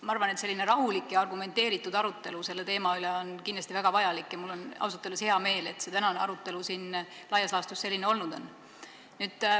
Ma arvan, et selline rahulik ja argumenteeritud arutelu selle teema üle on kindlasti väga vajalik, ja mul on ausalt öeldes hea meel, et tänane arutelu siin on laias laastus selline olnud.